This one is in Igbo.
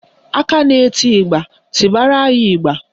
Aka na-eti ịgba, tibara anyị ịgba